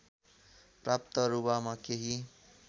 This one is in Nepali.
प्राप्त रुवामा केही